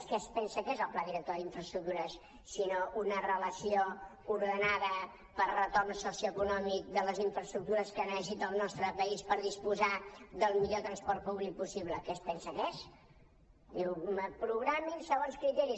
què és pensa que és el pla director d’infraestructures si no una relació ordenada per retorn socioeconòmic de les infraestructures que necessita el nostre país per disposar del millor transport públic possible què es pensa que és diu programin segons criteris